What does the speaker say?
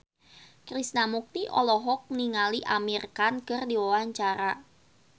Krishna Mukti olohok ningali Amir Khan keur diwawancara